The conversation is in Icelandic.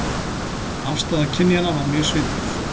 Afstaða kynjanna var mjög svipuð